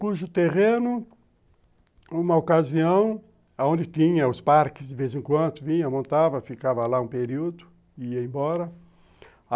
Cujo terreno, uma ocasião, onde tinha os parques de vez em quando, vinha, montava, ficava lá um período, ia embora.